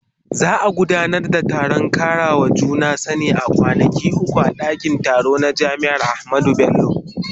Za a gudanar da taron karawa juna sani na kwanaki uku a dakin taro na jami'ar Ahmadu Bello.